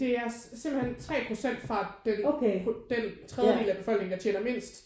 Det er simpelthen 3 procent fra den den tredjedel af befolkningen der tjener mindst